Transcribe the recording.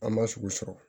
An ma sugu sɔrɔ